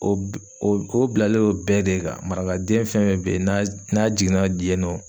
O o o bilalen don bɛɛ de kan. Marakaden fɛn fɛn be yen n'a n'a jiginna yen nɔ.